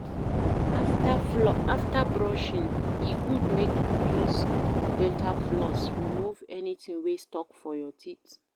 After brushing e good make you use dental floss remove anything wey stuck for your teeth